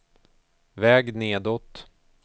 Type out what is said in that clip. väg nedåt